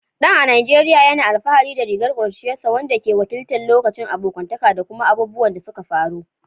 Dan, a Najeriya, yana alfahari da rigar ƙuruciyarsa, wanda ke wakiltar lokacin abokantaka da kuma abubuwan da suka faru.